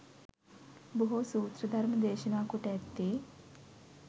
බොහෝ සූත්‍ර ධර්ම දේශනා කොට ඇත්තේ